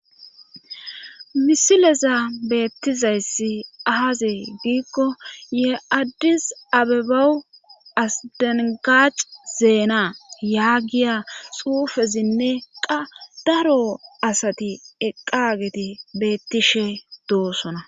Misileza beettizayssi aaze giikko ye addis abebawu asdengac zeena yaagiya xuufezinne qa daro asati eqqageti beettishe doosona.